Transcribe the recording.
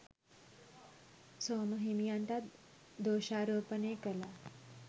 සෝම හිමියන්ටත් දෝෂාරෝපණය කළා